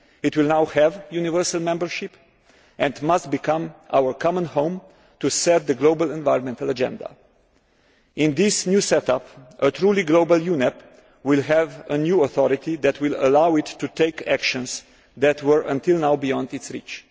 It will now have universal membership and must become our common home to set the global environmental agenda. In this new set up, a truly global UNEP will have a new authority that will allow it to take actions that were until now beyond its reach.